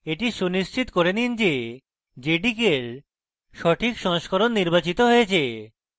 এটি সুনিশ্চিত করেন নিন যে jdk এর সঠিক সংস্করণ নির্বাচিত হয়েছে